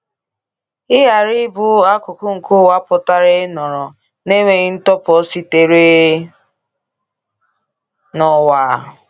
Ịghara ịbụ akụkụ nke ụwa pụtara ịnọrọ “n’enweghị ntụpọ sitere n’ụwa.”